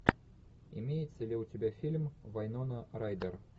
имеется ли у тебя фильм вайнона райдер